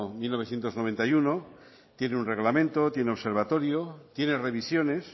mil novecientos noventa y uno tiene un reglamento tiene observatorio tiene revisiones